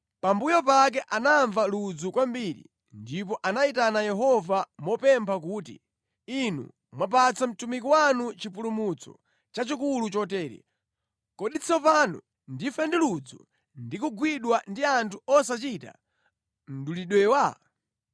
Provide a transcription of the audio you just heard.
Pambuyo pake anamva ludzu kwambiri ndipo anayitana Yehova mopempha kuti, “Inu mwapatsa mtumiki wanu chipulumutso chachikulu chotere. Kodi tsopano ndife ndi ludzu ndi kugwidwa ndi anthu osachita mdulidwewa?”